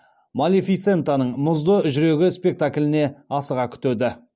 малефисентаның мұзды жүрегі спектакліне асыға күтеді